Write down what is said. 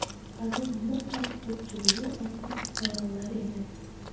Ularning mutlaq ko‘pchiligi oddiy fuqarolar edi.